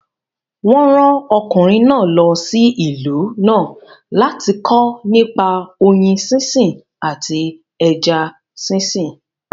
Wọ́n rán ọkùnrin náà lọ sí ìlú náà láti kọ́ nípa oyin sínsìn àti ẹja sínsìn